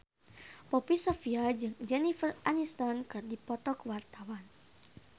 Poppy Sovia jeung Jennifer Aniston keur dipoto ku wartawan